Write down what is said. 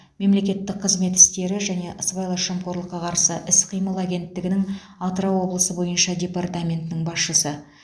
мемлекеттік қызмет істері және сыбайлас жемқорлыққа қарсы іс қимыл агенттігінің атырау облысы бойынша департаментінің басшысы